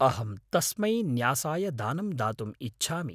अहं तस्मै न्यासाय दानं दातुम् इच्छामि।